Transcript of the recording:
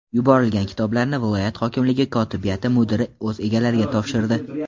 Yuborilgan kitoblarni viloyat hokimligi kotibiyati mudiri o‘z egalariga topshirdi.